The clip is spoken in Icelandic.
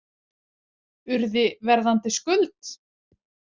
Urði, Verðandi, Skuld?